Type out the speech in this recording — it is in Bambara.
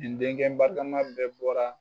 Nin denkɛ barikama bɛɛ bɔra.